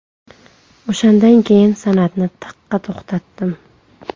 O‘shandan keyin san’atni taqqa to‘xtatdim.